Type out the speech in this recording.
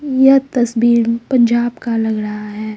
यह तस्वीर पंजाब का लग रहा है।